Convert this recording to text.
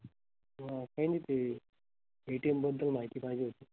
काही नाही ते ATM बदल माहिती पाहीजे होती.